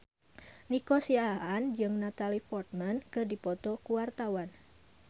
Nico Siahaan jeung Natalie Portman keur dipoto ku wartawan